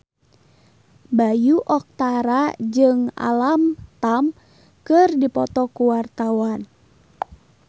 Bayu Octara jeung Alam Tam keur dipoto ku wartawan